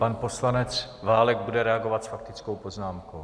Pan poslanec Válek bude reagovat s faktickou poznámkou.